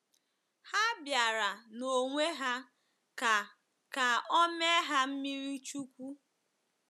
Ha bịara n'onwe ha ka ka o mee ha mmiri chukwu.